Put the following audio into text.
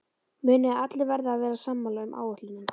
Munið að allir verða að vera sammála um áætlunina.